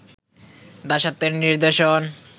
দাসত্বের নিদর্শন